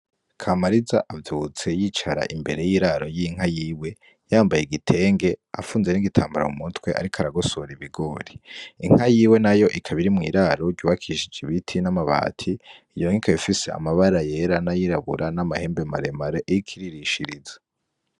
Kamariza avyutse yicara imbere y'iraro y'inka yiwe yambaye igitenge afunze n'igitambara mu mutwe ariko aragosora ibigori, inka yiwe nayo ikaba iri mw'iraro ryubakishije ibiti n'amabati, iyo nka ikaba ifise amabara yera n'ayirabura n'amahembe maremare iriko iririshiriza.